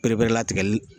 Ereperelatigɛli